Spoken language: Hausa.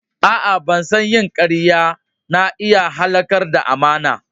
A'a, ban san yin kariya na iya halakar da amana ba.